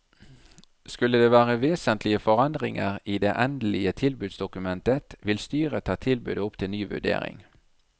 Skulle det være vesentlige forandringer i det endelige tilbudsdokumentet vil styret ta tilbudet opp til ny vurdering.